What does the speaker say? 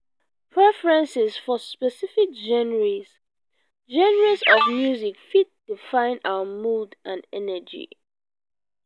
preferences for specific genres genres of music fit define our mood and energy.